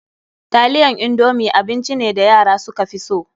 Taliyan indomi abinci ne da yara suka fi so.